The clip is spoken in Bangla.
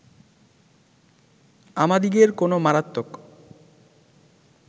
আমাদিগের কোন মারাত্মক